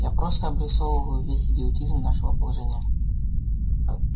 я просто обрисовываю весь идиотизм нашего положения